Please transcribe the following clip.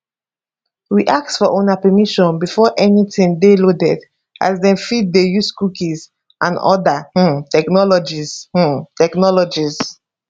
we ask for una permission before anytin dey loaded as dem fit dey use cookies and oda um technologies um technologies